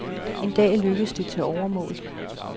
En dag lykkedes det, til overmål.